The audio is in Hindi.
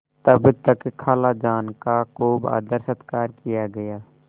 तब तक खालाजान का खूब आदरसत्कार किया गया